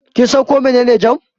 Kin san ko mene ne jam?